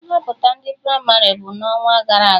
Nhọpụta ndị pramarị bụ n'ọnwagara aga